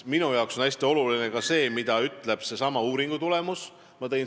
Minu jaoks on hästi oluline ka see, mida ütleb eelmainitud uuringu tulemus.